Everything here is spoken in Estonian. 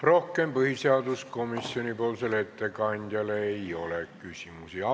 Rohkem põhiseaduskomisjoni ettekandjale küsimusi ei ole.